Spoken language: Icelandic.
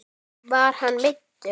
Var hann meiddur?